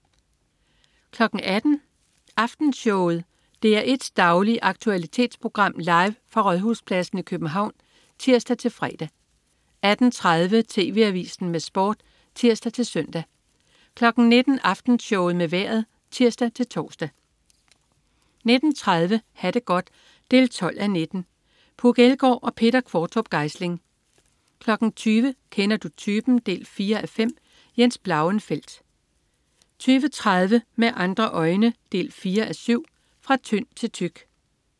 18.00 Aftenshowet. DR1s daglige aktualitetsprogram, live fra Rådhuspladsen i København (tirs-fre) 18.30 TV Avisen med Sport (tirs-søn) 19.00 Aftenshowet med Vejret (tirs-tors) 19.30 Ha' det godt 12:19. Puk Elgård og Peter Qvortrup Geisling 20.00 Kender du typen? 4:5. Jens Blauenfeldt 20.30 Med andre øjne 4:7. Fra tynd til tyk